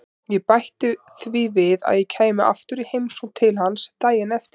Ég bætti því við að ég kæmi aftur í heimsókn til hans daginn eftir.